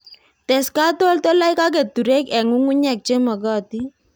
tes katoltolik ak keturek eng' ngungnyek che magatin